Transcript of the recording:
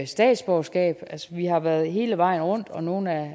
statsborgerskab vi har været hele vejen rundt og nogle af